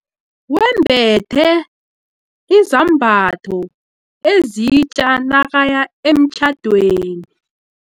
Wembethe izambatho ezitja nakaya emtjhadweni.